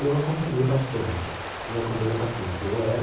Eu acompanhei bastante, eu acompanhei bastante. Eu era